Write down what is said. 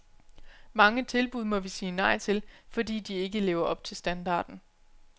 Mange tilbud må vi sige nej til, fordi de ikke lever op til standarden.